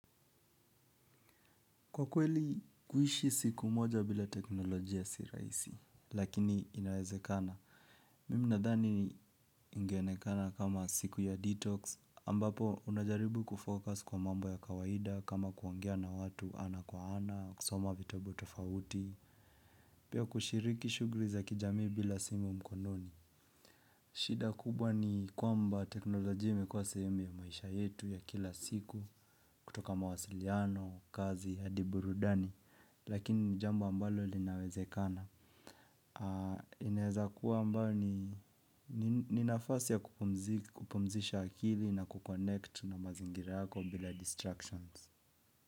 Kwa kweli, kuishi siku moja bila teknolojia si rahisi, lakini inawezekana. Mimi nadhani ingeokana kama siku ya detox, ambapo unajaribu kufocus kwa mambo ya kawaida kama kuongea na watu ana kwa ana, kusoma vitabu tofauti, pia kushiriki shughuli za kijamii bila simu mkononi. Shida kubwa ni kwamba teknolojia imekuwa sehemu ya maisha yetu ya kila siku kutoka mawasiliano, kazi, hadi burudani, lakini ni jambo ambalo linawezekana. Inaweza kuwa ambayo ni ni nafasi ya kupumzisha akili na kukonnect na mazingira yako bila distractions.